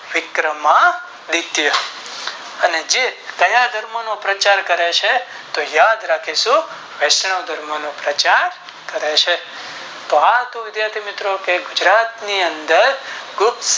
વિક્રમ આદિત્ય એને જે ક્યાં ધર્મ નો પ્રચાર કરે છે તો યાદરાખીશું વૈષ્ણ્વ ધર્મ નો પ્રચારકરે છે કે તો વિધાહી મિત્રો ગુજરાત ની અંદર